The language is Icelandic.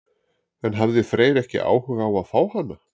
En hafði Freyr ekki áhuga á að fá hana?